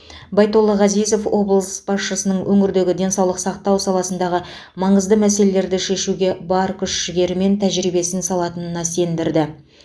байтолла ғазизов облыс басшысын өңірдегі денсаулық сақтау саласындағы маңызды мәселелерді шешуге бар күш жігері мен тәжірибесін салатынына сендірді